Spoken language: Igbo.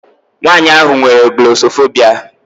Nwaanyị ahụ nwere glọsọfobia.